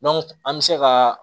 an bɛ se ka